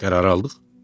Qərarı aldıq?